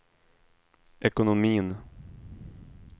ekonomin